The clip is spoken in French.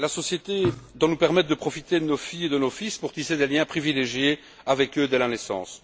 La société doit nous permettre de profiter de nos filles et de nos fils pour tisser des liens privilégiés avec eux dès la naissance.